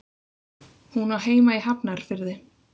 Hún á heima í Hafnarfirði.